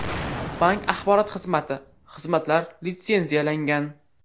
Bank axborot xizmati Xizmatlar litsenziyalangan.